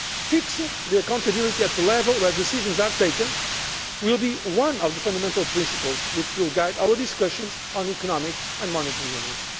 Fixing accountability at the level where the decisions are taken will be one of the fundamental principles which will guide our discussions on economic and monetary